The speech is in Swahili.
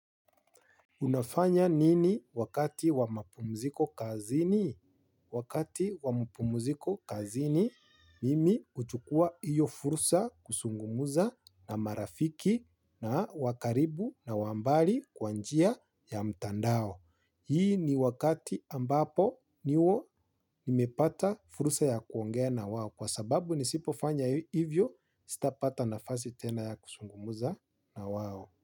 Unafanya nini wakati wa mapumziko kazini? Wakati wa mapumziko kazini, mimi huchukua hiyo fursa kuzungumza na marafiki na wakaribu na wambali kwa njia ya mtandao. Hii ni wakati ambapo niwo nimepata fursa ya kuongea na wao kwa sababu nisipofanya hivyo sitapata nafasi tena ya kuzungumza na wao.